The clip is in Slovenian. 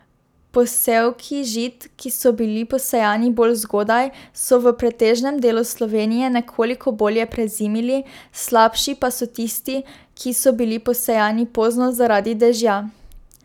Posevki žit, ki so bili posejani bolj zgodaj, so v pretežnem delu Slovenije nekoliko bolje prezimili, slabši pa so tisti, ki so bili posejani pozno zaradi dežja.